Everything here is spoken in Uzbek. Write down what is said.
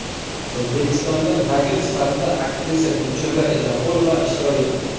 O‘zbekistondan vakil sifatida aktrisa Gulchehra Eshonqulova ishtirok etdi.